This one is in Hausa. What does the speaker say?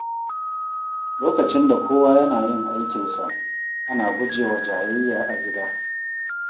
Lokacin da kowa yana yin aikinsa, ana guje wa jayayya a gida.